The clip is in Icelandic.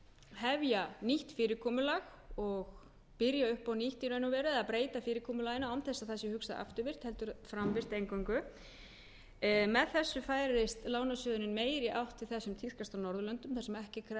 hefja nýtt fyrirkomulag og byrja upp á nýtt í raun og veru eða breyta fyrirkomulaginu án þess að það sé hugsað afturvirkt heldur framvirkt eingöngu með þessu færist lánasjóðurinn meira í átt til þess sem tíðkast á norðurlöndum þar sem ekki er krafist